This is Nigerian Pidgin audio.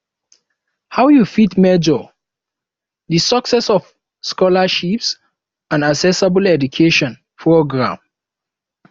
how you fit measure di success of scholarships and accessible education programs